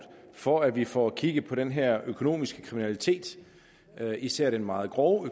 for at vi får kigget på den her økonomiske kriminalitet især den meget grove